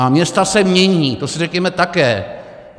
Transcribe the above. A města se mění, to si řekněme také.